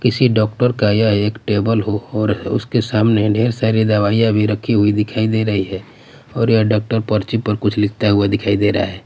किसी डॉक्टर का ये एक टेबल हो हो और उसके सामने ढेर सारी दवाईयाँ भी रखी हुई दिखाई दे रही हैं और यह डॉक्टर पर्ची पर कुछ लिखता हुआ दिखाई दे रहा हैं।